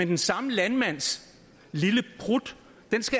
den samme landmands lille prut